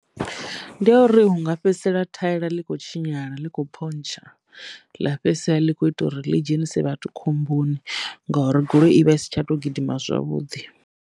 Ndi yo u ri hu nga fhedzisela thaela ḽi kho tshinyala ḽi kho phontsha ḽa fhedzisela ḽi kho ita uri ḽi dzhenise vhathu khomboni ngouri goloi i vha i si tsha to gidima zwavhuḓi.